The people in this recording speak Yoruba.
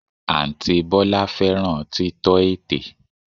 Àǹtí Bọ́lá fẹ́ràn títọ́ ètè